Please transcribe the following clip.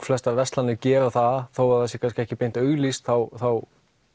flestar verslanir gera það þó það sé ekki beint auglýst þá þá